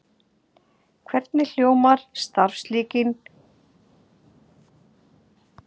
Hvernig hljóðar starfslýsing umboðsmanns Alþingis?